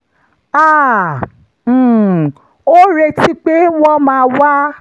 a um ò retí pé wọ́n máa wá